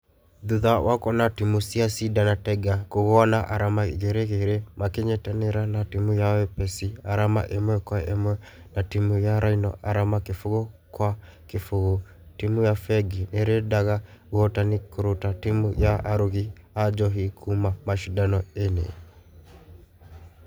Thutha wa kwona timũ cia cider na tiger kũgũa na arama igĩrĩ igĩrĩ makenyitanĩra na timũ ya wepesi arama ĩmwe kwe ĩmwe na timũ ya rhino arama kĩfũgo gwa kĩfũgo timũ ya fengĩ nĩrendaga ũhotani kũruta timũ ya arũgi a njohi kuuma mashidano-inĩ.